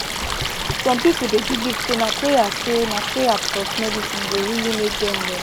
some people dey believe say na prayer say na prayer plus medicine go really make dem well